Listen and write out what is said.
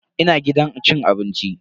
Ina gidan cin abinci.